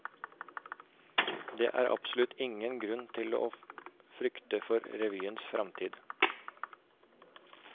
Det er absolutt ingen grunn til å frykte for revyens fremtid.